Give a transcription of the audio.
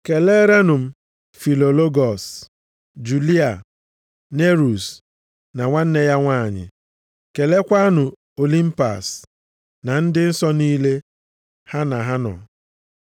Keleerenụ m Filologọs, Juliya, Nerus na nwanne ya nwanyị. Keleekwanụ Olimpas na ndị nsọ niile ha na ha nọ.